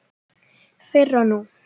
Fyrr og nú.